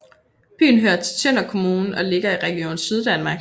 Byen hører til Tønder Kommune og ligger i Region Syddanmark